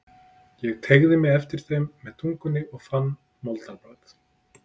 Ég teygði mig eftir þeim með tungunni og fann moldarbragð.